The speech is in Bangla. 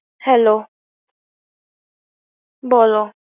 হ্যালো, বল।